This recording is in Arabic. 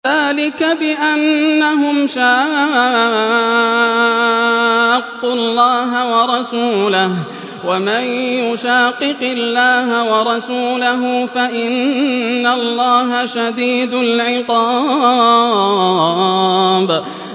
ذَٰلِكَ بِأَنَّهُمْ شَاقُّوا اللَّهَ وَرَسُولَهُ ۚ وَمَن يُشَاقِقِ اللَّهَ وَرَسُولَهُ فَإِنَّ اللَّهَ شَدِيدُ الْعِقَابِ